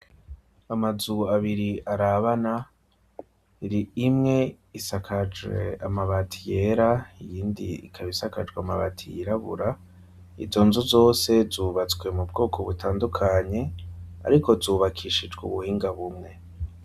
Amazu abiri arabana iri imwe isakajwe amabati yera iyindi ikabisakajwe amabati yirabura izo nzu zose zubatswe mu bwoko butandukanye, ariko zubakishijwe ubuhinga bumwe.